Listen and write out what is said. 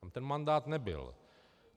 Tam ten mandát nebyl.